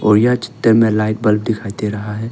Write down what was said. और यह छते मे लाइट बल्ब दिखाई दे रहा है।